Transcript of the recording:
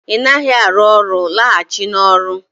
Ị naghị arụ ọrụ, laghachi n'ọrụ